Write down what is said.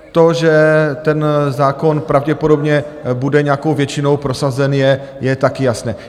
To, že ten zákon pravděpodobně bude nějakou většinou prosazen, je taky jasné.